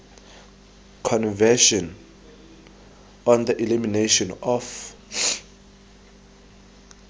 convention on the elimination of